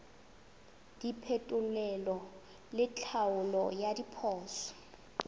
diphetolelo le tlhaolo ya diphoso